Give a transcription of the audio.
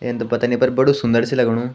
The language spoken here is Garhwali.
इन त पतानी नी पर बडू सुंदरा च लगनु ।